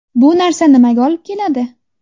Bu narsa nimaga olib keladi?